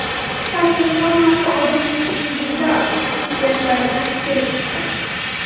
Qisqasi, hammasi odamning individual xususiyatlaridan kelib chiqadi.